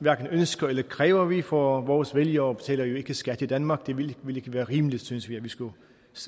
hverken ønsker eller kræver vi for vores vælgere betaler jo ikke skat i danmark det ville ikke være rimeligt synes vi at vi skulle